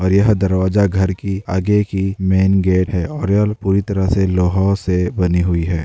और यह दरवाजा घर की आगे की मैन गेट है।